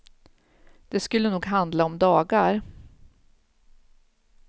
Det skulle nog handla om dagar.